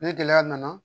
Ni gɛlɛya nana